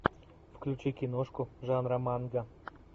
включи киношку жанра манга